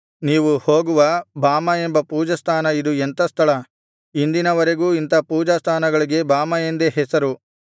ನೀವು ಹೋಗುವ ಬಾಮಾ ಎಂಬ ಪೂಜಾಸ್ಥಾನ ಇದು ಎಂಥ ಸ್ಥಳ ಇಂದಿನ ವರೆಗೂ ಇಂಥಾ ಪೂಜಾಸ್ಥಾನಗಳಿಗೆ ಬಾಮಾ ಎಂದೇ ಹೆಸರು